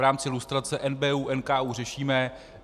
V rámci lustrace NBÚ, NKÚ řešíme.